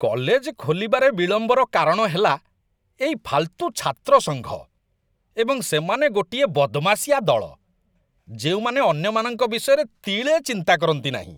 College ଖୋଲିବାରେ ବିଳମ୍ବର କାରଣ ହେଲା ଏଇ ଫାଲ୍‌ତୁ ଛାତ୍ର ସଂଘ, ଏବଂ ସେମାନେ ଗୋଟିଏ ବଦମାସିଆ ଦଳ, ଯେଉଁମାନେ ଅନ୍ୟମାନଙ୍କ ବିଷୟରେ ତିଳେ ଚିନ୍ତା କରନ୍ତିନାହିଁ।